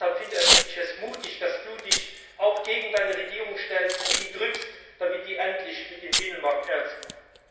Und deshalb finde ich es mutig, dass du dich auch gegen deine Regierung stellst und sie drängst, damit sie endlich mit dem Binnenmarkt Ernst macht.